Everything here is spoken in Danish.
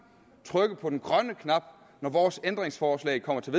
trykke på den grønne knap når vores ændringsforslag kommer til